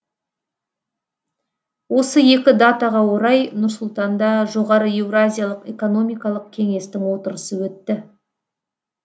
осы екі датаға орай нұр сұлтанда жоғары еуразиялық экономикалық кеңестің отырысы өтті